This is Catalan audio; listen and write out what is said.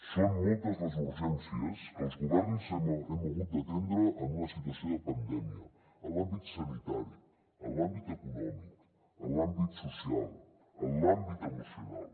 són moltes les urgències que els governs hem hagut d’atendre en una situació de pandèmia en l’àmbit sanitari en l’àmbit econòmic en l’àmbit social en l’àmbit emocional